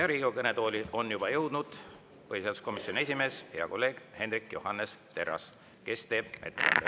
Riigikogu kõnetooli on juba jõudnud põhiseaduskomisjoni esimees, hea kolleeg Hendrik Johannes Terras, kes teeb ettekande.